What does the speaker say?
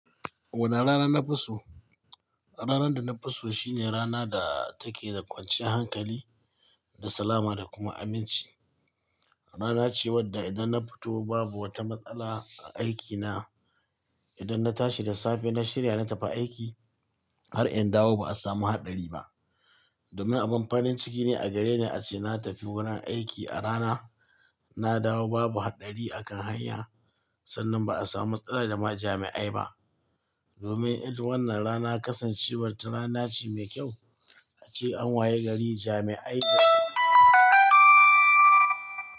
Wannan rana na fi so. Ranar da na fi so shine rana da take da kwancin hankali da salama da kuma aminci. Rana ce wadda idan na fito babu wata matsala a aikina. Idan na tashi da safe na shirya na tafi aiki, har in dawo ba a samu haɗari ba. Domin abin farin ciki ne a gareni ace na tafi wurin aiki a rana, na dawo babu haɗari a kan hanya. Sannan ba a samu matsala da ma jami'ai ba. Domin wannan rana kasancewar ta rana ce mai kyau. Ace an wayi gari jami'ai da.